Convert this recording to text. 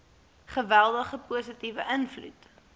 geweldige positiewe invloed